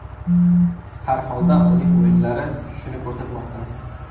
Har holda uning o‘yinlari shuni ko‘rsatmoqda.